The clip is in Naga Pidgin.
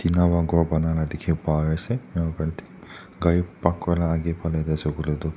Tina para khor bana laga diki pai asae Kari park kuralaka agae falae asae toh.